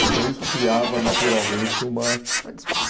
Então, isso criava, naturalmente, uma... Uma